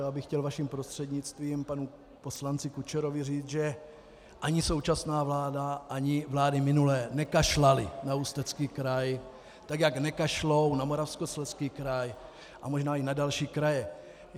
Já bych chtěl vaším prostřednictvím panu poslanci Kučerovi říci, že ani současná vláda ani vlády minulé nekašlaly na Ústecký kraj, tak jak nekašlou na Moravskoslezský kraj a možná i na další kraje.